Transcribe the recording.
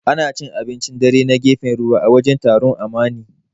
Ana cin abincin dare na gefen ruwa, a wajen taron Amani.